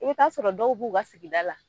E be t'a sɔrɔ dɔw b'u ka sigida la